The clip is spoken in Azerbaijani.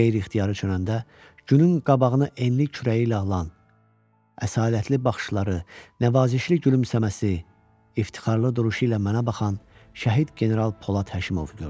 Qeyri-ixtiyari dönəndə günün qabağını enli kürəyi ilə alan, əsalətli baxışları, nəvazişli gülümsəməsi, iftixarlı duruşu ilə mənə baxan şəhid general Polad Həşimovu gördüm.